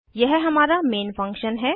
यह हमारा main function है